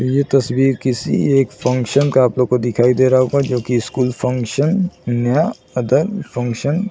ये तस्वीर किसी एक फंशन का आपलोगों दिखाई दे रहा होगा जो की स्कूल फंशन नया अदर फंशन --